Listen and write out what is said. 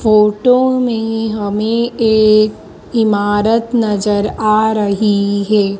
Photo में हमें एक इमारत नजर आ रही है।